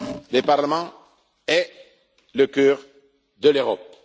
Le Parlement est le cœur de l'Europe.